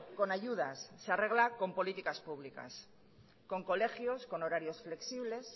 con ayudas se arregla con políticas públicas con colegios con horarios flexibles